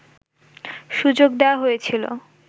সুযোগ দেওয়া হয়েছিল